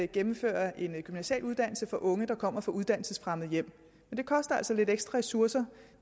gennemføre en gymnasial uddannelse for unge der kommer fra uddannelsesfremmede hjem og det koster altså lidt ekstra ressourcer